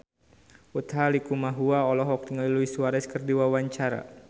Utha Likumahua olohok ningali Luis Suarez keur diwawancara